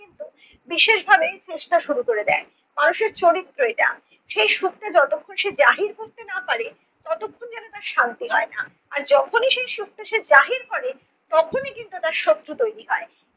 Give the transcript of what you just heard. বিশেষভাবে খুঁজতে চেষ্টা করে দেন। মানুষের চরিত্র এটা। সেই সুখকে যতক্ষণ সে জাহির করতে না পারে ততক্ষণ যেন তার শান্তি হয় না। আর যখনি সেই সুখটা সে জাহির করে তখনি কিন্তু তার শত্রু তৈরী হয়।